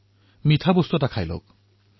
মুখখন মিঠা কৰক